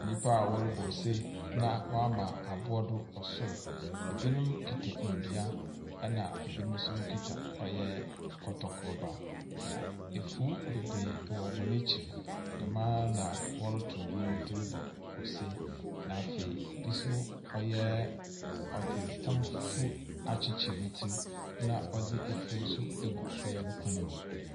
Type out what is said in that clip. Nyimpa a wɔrobɔ ose, na wɔama aboa do wɔ sor. Binom kita ndua, na binom nso kita ɔyɛ kɔtɔkroba. Na efuw beberee wɔ hɔn ekyir. Dɛm ara na wɔroto ndwom dze robɔ ose, na afei bi nso, ɔyɛ ɔdze tam fufuw akyekyer ne tsir na ɔdze efuwnso agu ɔyɛ nokɔn mu.